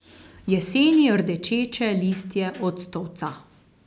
Jeseni rdečeče listje octovca.